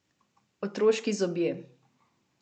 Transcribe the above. Otroški zobje.